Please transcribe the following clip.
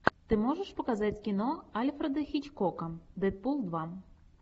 ты можешь показать кино альфреда хичкока дэдпул два